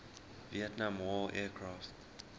vietnam war aircraft